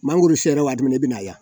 Mangoro sera waati min na i bɛna a ye yan